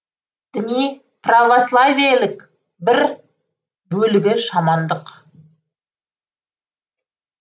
діни православиелік бір бөлігі шамандық